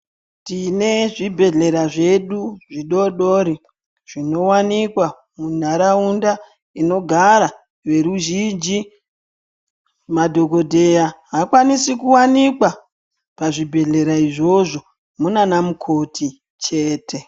Tine zvibhedhlera zvedu zvidodori zvino wanikwa mu nharaunda inogara ve ruzhinji madhokodheya hakwanise ku wanikwa pa zvibhedhlera izvozvo munana mukoti chete.